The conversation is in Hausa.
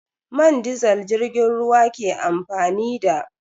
Man disil jirgin ruwa ke amfani da.